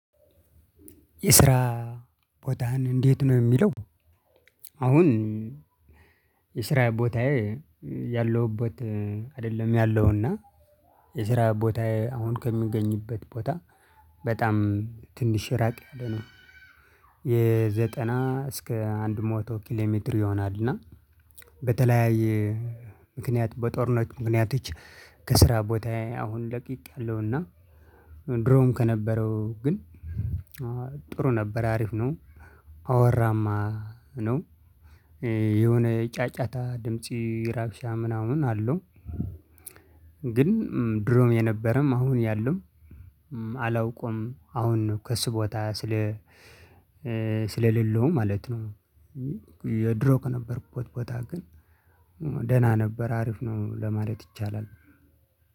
የስራ ቦታህን እንዴት ነው የሚለው? አሁን የስራ ቦታየ ያለሁበት አደለም ያለሁ እና የስራ ቦታየ አሁን ከምገኝበት ቦታ በጣም ትንሽ ራቅ ያለ ነው። የ ዘጠና እስከ አንድ ሐቶ ኪሎ ሜትር ይሆናል። እና በተለያየ ምክንያት በጦርነት ምክንያቶች ከስራ ቦታዬ አሁን ለቅቄአለሁ። እና ድሮም ከነበረው ግን ጥሩ ነበር አሪፍ ነው። አዋራማ ነው። የሆነ ጫጫታ ድምፄ ረብሻ ምናምን አለው። ግን ድሮም የነበረም አሁን ያለውም አላውቅም። አሁን ከሱ ቦታ ስለ ስለሌለው ማለት ነው። ድሮ ከነበርኩበት ቦታ ግን ደህና ነበር አሪፍ ነው ለማለት ይቻላል።